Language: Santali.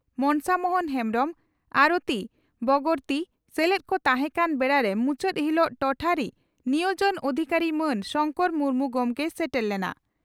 ᱢᱚᱱᱥᱟ ᱢᱚᱦᱚᱱ ᱦᱮᱢᱵᱽᱨᱚᱢ ᱟᱨᱚᱛᱤ ᱵᱚᱜᱚᱨᱛᱤ ᱥᱮᱞᱮᱫ ᱠᱚ ᱛᱟᱦᱮᱸ ᱠᱟᱱ ᱵᱮᱲᱟᱨᱮ ᱢᱩᱪᱟᱹᱫ ᱦᱤᱞᱚᱜ ᱴᱚᱴᱷᱟᱨᱤ ᱱᱤᱭᱚᱡᱚᱱ ᱚᱫᱷᱤᱠᱟᱨᱤ ᱢᱟᱱ ᱥᱚᱝᱠᱚᱨ ᱢᱩᱨᱢᱩ ᱜᱚᱢᱠᱮᱭ ᱥᱮᱴᱮᱨ ᱞᱮᱱᱟ ᱾